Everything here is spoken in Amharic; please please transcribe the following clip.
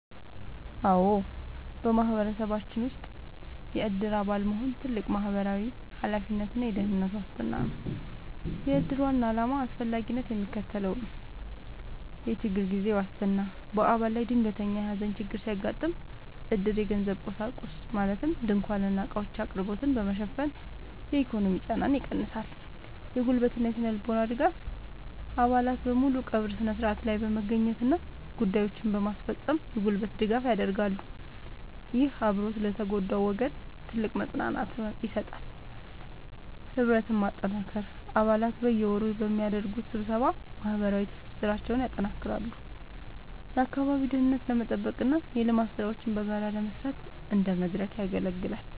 አዎ፣ በማህበረሰባችን ውስጥ የዕድር አባል መሆን ትልቅ ማህበራዊ ኃላፊነትና የደህንነት ዋስትና ነው። የዕድር ዋና ዓላማና አስፈላጊነት የሚከተለው ነው፦ የችግር ጊዜ ዋስትና፦ በአባል ላይ ድንገተኛ የሐዘን ችግር ሲያጋጥም፣ ዕድር የገንዘብና የቁሳቁስ (ድንኳንና ዕቃዎች) አቅርቦትን በመሸፈን የኢኮኖሚ ጫናን ይቀንሳል። የጉልበትና ስነ-ልቦናዊ ድጋፍ፦ አባላት በሙሉ በቀብሩ ሥነ ሥርዓት ላይ በመገኘትና ጉዳዮችን በማስፈጸም የጉልበት ድጋፍ ያደርጋሉ። ይህ አብሮነት ለተጎዳው ወገን ትልቅ መጽናናትን ይሰጣል። ህብረትን ማጠናከር፦ አባላት በየወሩ በሚያደርጉት ስብሰባ ማህበራዊ ትስስራቸውን ያጠናክራሉ፤ የአካባቢውን ደህንነት ለመጠበቅና የልማት ሥራዎችን በጋራ ለመስራት እንደ መድረክ ያገለግላል።